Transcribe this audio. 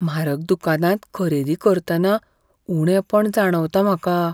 म्हारग दुकानांत खरेदी करतना उणेपण जाणवता म्हाका.